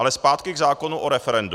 Ale zpátky k zákonu o referendu.